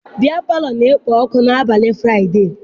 Biya palọ na-ekpo ọkụ n'abalị Fụraịdee.